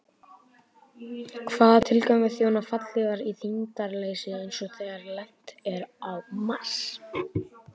Hvaða tilgangi þjóna fallhlífar í þyngdarleysi eins og þegar lent er á Mars?